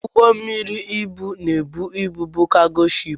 Ụgbọ mmiri ibu na-ebu ibu bụ Jago shiipu.